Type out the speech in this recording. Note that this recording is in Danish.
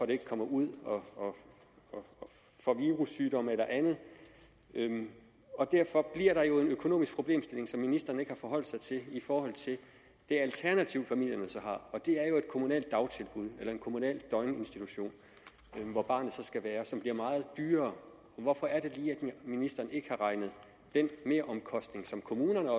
det ikke kommer ud og får virussygdomme eller andet derfor bliver der jo en økonomisk problemstilling som ministeren ikke har forholdt sig til i forhold til det alternativ familierne så har og det er jo et kommunalt dagtilbud eller en kommunal døgninstitution som bliver meget dyrere hvorfor er det lige ministeren ikke har regnet den meromkostning som kommunerne og